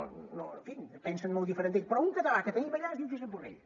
en fi pensen molt diferent d’ell però un català que tenim allà es diu josep borrell